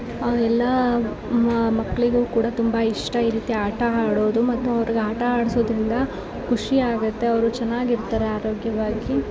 ಅವೆಲ್ಲಾ ಮ-ಮಕ್ಳಿಗೂ ಕೂಡ ತುಂಬಾ ಇಷ್ಟ ಈ ರೀತಿ ಆಟ ಆಡೋದು ಮತ್ತು ಅವ್ರಿಗೆ ಆಟ ಅಡ್ಸೋದ್ರಿಂದ ಖುಷಿಯಾಗುತ್ತೆ ಅವ್ರು ಚೆನ್ನಾಗಿರ್ತಾರೆ ಆರೋಗ್ಯವಾಗಿ.